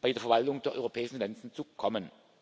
bei der Verwaltung der europäischen Finanzen zu kommen.